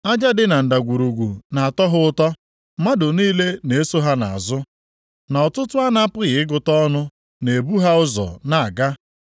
Aja dị na ndagwurugwu na-atọ ha ụtọ; Mmadụ niile na-eso ha nʼazụ, na ọtụtụ a na-apụghị ịgụta ọnụ na-ebu ha ụzọ nʼaga.